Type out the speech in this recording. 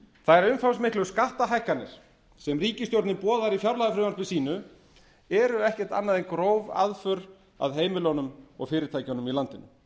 þær umfangsmiklu skattahækkanir sem ríkisstjórnin boðar í fjárlagafrumvarpi sínu eru ekkert annað en gróf aðför að heimilunum og fyrirtækjunum í landinu